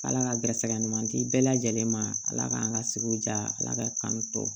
Ala ka garisɛgɛ ɲuman di bɛɛ lajɛlen ma ala k'an ka sigi diya ala ka kan tɔ